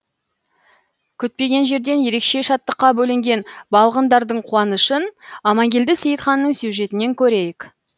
күтпеген жерден ерекше шаттыққа бөленген балғындардың қуанышын аманкелді сейітханның сюжетінен көрейік